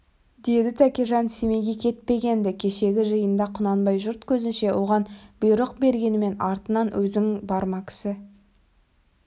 деді тәкежан семейге кетпеген-ді кешегі жиында құнанбай жұрт көзінше оған бұйрық бергенмен артынан өзің барма кісі